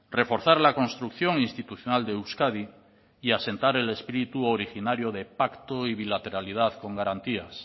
reforzar la construcción institucional de euskadi y asentar el espíritu originario de pacto y bilateralidad con garantías